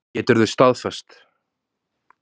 Geturðu staðfest?